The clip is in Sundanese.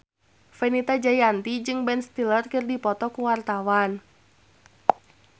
Fenita Jayanti jeung Ben Stiller keur dipoto ku wartawan